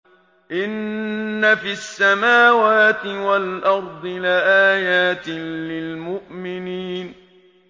إِنَّ فِي السَّمَاوَاتِ وَالْأَرْضِ لَآيَاتٍ لِّلْمُؤْمِنِينَ